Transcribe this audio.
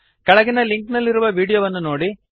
ಕೆಳಗಿನ ಲಿಂಕ್ ನಲ್ಲಿರುವ ವೀಡಿಯೋವನ್ನು ನೋಡಿರಿ